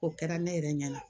O kɛra ne yɛrɛ ɲɛna